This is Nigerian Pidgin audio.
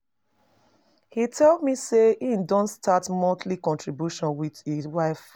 He tell me say he don start monthly contribution with his wife